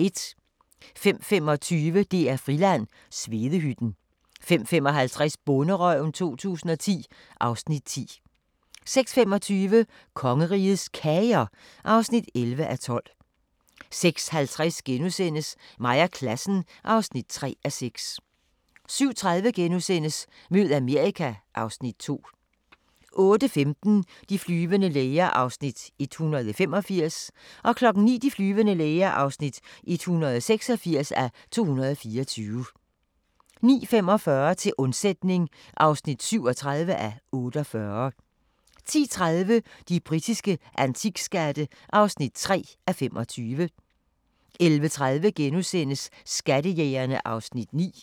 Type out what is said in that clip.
05:25: DR-Friland: Svedehytten 05:55: Bonderøven 2010 (Afs. 10) 06:25: Kongerigets Kager (11:12) 06:50: Mig og klassen (3:6)* 07:30: Mød Amerika (Afs. 2)* 08:15: De flyvende læger (185:224) 09:00: De flyvende læger (186:224) 09:45: Til undsætning (37:48) 10:30: De britiske antikskatte (3:25) 11:30: Skattejægerne (Afs. 9)*